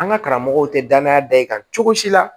An ka karamɔgɔw te danaya da i kan cogo si la